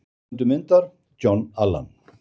Höfundur myndar: John Allan.